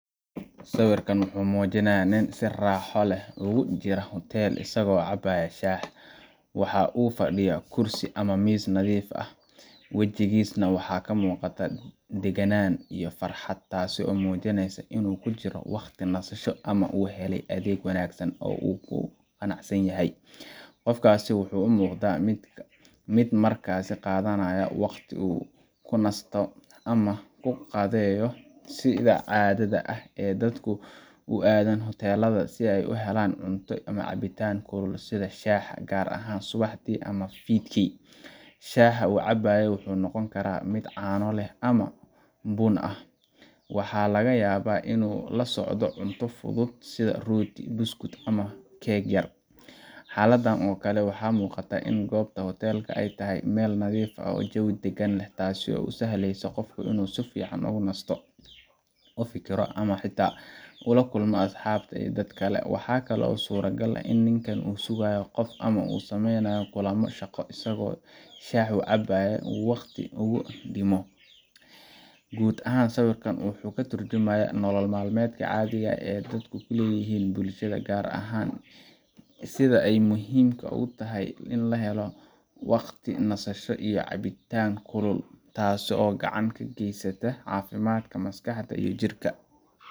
Sawirkan wuxuu muujinaya nin si raaxo leh ogu jiro huteel asago cabaya shah, waxa uu kufadhiyaha kursi ama miis nadiif ah, wajigiis na waxa kamuuqata degenaan iyo farxad taaso muujineyso inu kujiro waqti nasasho ama uu hele adeeg wanaagsan oo u kuqanacsan yahay, qofkas wuxuu u muuqda mid markasi qaadanaya waqti uu kunasto ama uu kuqaadeyo sida caadada ah ee dadku u aadan hutelada si ay u helaan cunto ama cabitan kulul sida shah gaar ahan subixii ama fidki, shaha uu cabaayo wuxuu noqoni karaa mid caano leh ama bun ah, waxa laga yaaba inu la socdo cunto fudud sida rooti, buskut ama keg yar, xaladan oo kale waxaa muuqata in gobta hutelka ay tahay Mel nadiif ah oo jewi degan leh taasi oo usahleyso qofku inu si fican ogu nasto, ufikiriyo ama xita kula kulmo asxabta iyo dad kale, waxakale oo sura gal eh in ninkan uu sugaayo qof ama uu sameeyanayo kulama shaqo asago shah uu caabayo uu waqti ogu dhimo, guud ahan sawirkan wuxuu katurjamaya nolol malmeedka caadiga ah ee dadku kuleeyihin bulshada gaar ahan sida ay muhiimka ogu tahay ini lahale waqti nasasho iyo caabitan kulul taasi oo gacan kageysata caafimaadka maskaxda iyo jirka